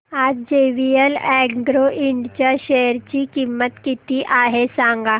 आज JVL agro ind च्या share ची किंमत किती आहे सांगा